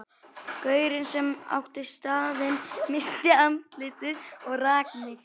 Gaurinn sem átti staðinn missti andlitið og rak mig.